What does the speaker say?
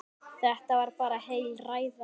Þetta var bara heil ræða.